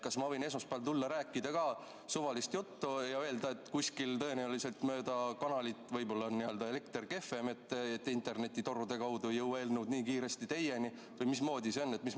Kas ma võin esmaspäeval tulla ja rääkida ka suvalist juttu ja öelda, et kuskil tõenäoliselt mööda kanalit, võib-olla on elekter kehvem, et internetitorude kaudu ei jõua eelnõud nii kiiresti teieni või mismoodi see on?